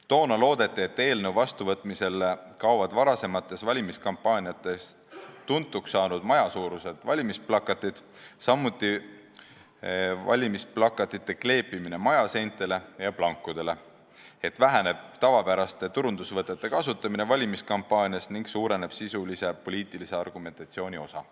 Toona loodeti, et eelnõu vastuvõtmisel kaovad varasematest valimiskampaaniatest tuntuks saanud majasuurused valimisplakatid, lõpetatakse valimisplakatite kleepimine majaseintele ja plankudele, väheneb tavapäraste turundusvõtete kasutamine valimiskampaanias ning suureneb sisulise poliitilise argumentatsiooni osa.